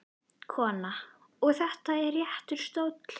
Kona: Og þetta er réttur stóll?